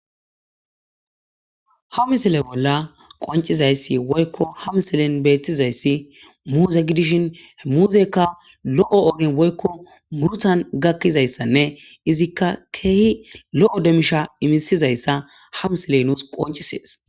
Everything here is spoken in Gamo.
Ha misile bolla qoncizayssi woykko Ha misilen beettizayssi muuzegidishin muuzekka lo'o ogen woykko murtan gakkizayssanne izikka keehi lo7o demisha imisizayssa hamsiley nuus qoncisees.